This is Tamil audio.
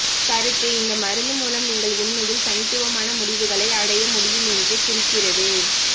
கருத்து இந்த மருந்து மூலம் நீங்கள் உண்மையில் தனித்துவமான முடிவுகளை அடைய முடியும் என்று குறிக்கிறது